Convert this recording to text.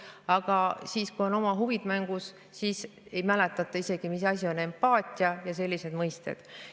Aga kui on oma huvid mängus, siis ei mäletata isegi, mis asi on empaatia ja sellised mõisted.